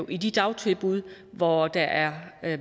i de dagtilbud hvor der er